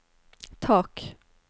tak